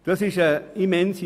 Diese Menge ist immens.